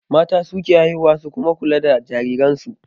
Mata su ke haihuwa su kuma kula da jariransu